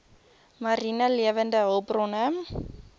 mariene lewende hulpbronne